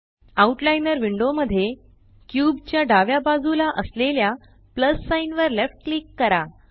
out liner window मध्ये cube च्या डाव्या बाजूला असलेल्या प्लस साइन वर लेफ्ट क्लिक करा